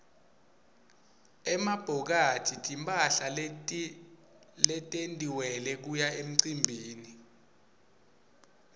emabhokathi timphahla letentiwele kuya emicimbini